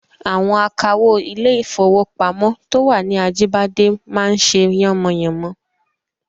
Àwọn akawó ilé-ìfowópamọ́ to wà ní Ajíbádé máa ń ṣe yánmọyànmọ